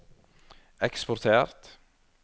eksportert